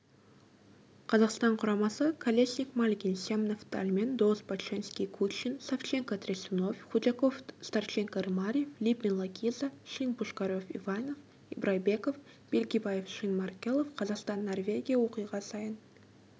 қазақстан құрамасы колесник мальгин семнов-даллмэн доус-боченски-кучин савченко-трясунов худяков-старченко-рымарев липин-лакиза шин-пушкарев-иванов ибрайбеков бельгибаев-шин-маркелов қазақстан норвегия оқиға саин